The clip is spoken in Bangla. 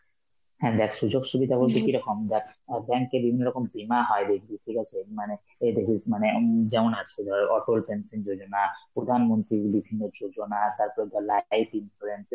হ্যাঁ দেখ সুযোগ-সুবিধা বলতে কি রকম যার~ অ্যাঁ bank এ বিভিন্ন রকম দেনা হয় দেখবি, ঠিক আছে, মানে এই দেখিস মানে হম যেমন আজকে ধর অতল pension যোজনা, প্রধানমন্ত্রী গুলি বিভিন্ন যোজনা, তারপর ধর life insurance,